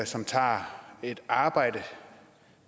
som tager et arbejde